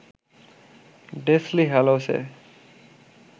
Deathly হ্যালোসে